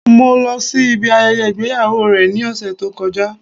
Mo lo sí ibi ayẹyẹ ìgbéyàwó rẹ̀ ní òsẹ̀ tó kọjá